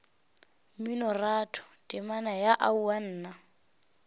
mminoratho temana ya aowa nna